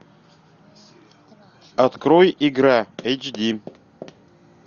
открой игра эйч ди